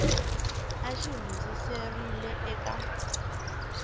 a xi hundziserile eka n